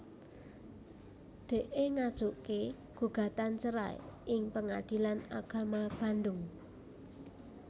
Dee ngajuké gugatan cerai ing Pengadilan Agama Bandung